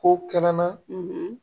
Ko kɛnɛ na